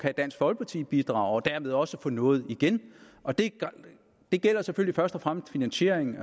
dansk folkeparti kan bidrage og derved også få noget igen og det det gælder selvfølgelig først og fremmest finansieringen